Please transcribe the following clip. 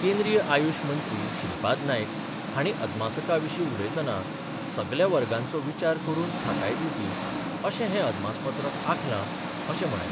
केंद्रीय आयुष मंत्री श्रीपाद नायक हांणी अदमासका विशीं उलयतना सगल्या वर्गांचो विचार करून थाकाय दिवपी अशें हें अदमासपत्रक आंखला अशें म्हळें.